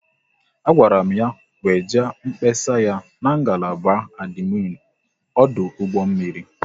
A gwara m ya weje mkpesa ya n'ngalaba adminu ọdụ ụgbọ mmiri